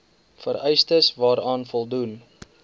vereistes waaraan voldoen